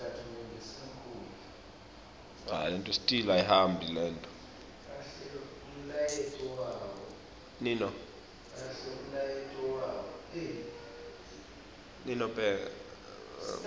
kepha ngalesinye sikhatsi